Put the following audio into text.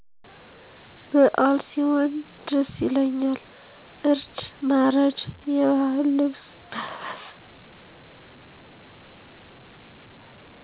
በአል ሢሆን ደስ ይላል እርድ ማረድ የባህል ልብስ መልበስ